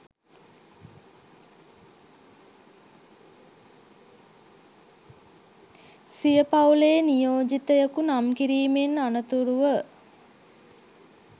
සිය පවු‍ලේ නියෝජිතයකු නම් කිරීමෙන් අනතුරුව